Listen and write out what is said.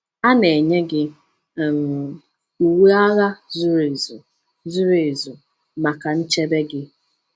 A na-enye gị um uwe agha zuru ezu zuru ezu maka nchebe gị.